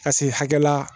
Ka se hakɛ la